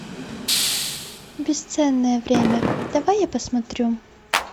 бесценное время давай я посмотрю